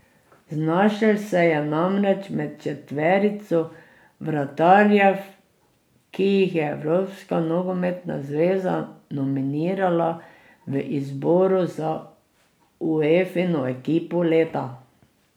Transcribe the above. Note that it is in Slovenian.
Znašel se je namreč med četverico vratarjev, ki jih je Evropska nogometna zveza nominirala v izboru za Uefino ekipo leta.